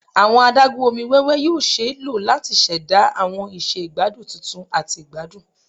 Awọn adagun omi wẹwẹ yoo ṣee lo lati ṣẹda awọn iṣẹ igbadun tuntun ati igbadun